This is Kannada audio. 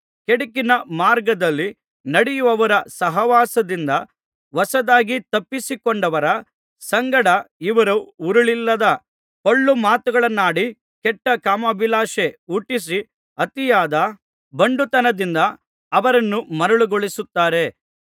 ಕೇಡುಕಿನ ಮಾರ್ಗದಲ್ಲಿ ನಡೆಯುವವರ ಸಹವಾಸದಿಂದ ಹೊಸದಾಗಿ ತಪ್ಪಿಸಿಕೊಂಡವರ ಸಂಗಡ ಇವರು ಹುರುಳಿಲ್ಲದ ಪೊಳ್ಳು ಮಾತುಗಳನ್ನಾಡಿ ಕೆಟ್ಟ ಕಾಮಾಭಿಲಾಷೆ ಹುಟ್ಟಿಸಿ ಅತಿಯಾದ ಬಂಡುತನದಿಂದ ಅವರನ್ನು ಮರುಳುಗೊಳಿಸುತ್ತಾರೆ